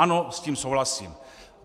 Ano, s tím souhlasím.